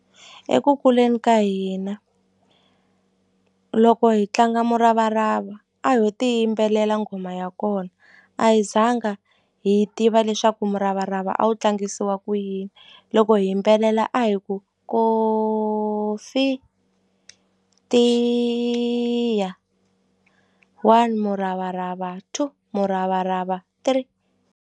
Eku kuleni ka hina loko hi tlanga muravarava a ho ti yimbelela nghoma ya kona a hi zanga hi tiva leswaku muravarava a wu tlangisiwa ku yini yini loko hi yimbelela a hi ku kofi tiya one muravarava two muravarava three.